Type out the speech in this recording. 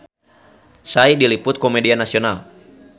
Psy diliput ku media nasional